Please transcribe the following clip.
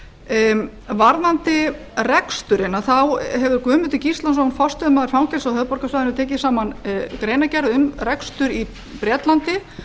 og kvennafangelsinu varðandi reksturinn hefur guðmundur gíslason forstöðumaður fangelsa á höfuðborgarsvæðinu tekið saman greinargerð um rekstur í bretlandi